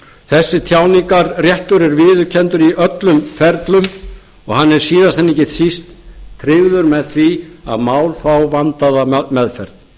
í öllum ferlum og hann er síðast en ekki síst tryggður með því að mál fá vandaða meðferð og